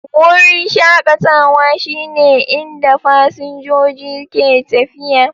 Wurin shakatawa shine inda fasinjoji ke tafiya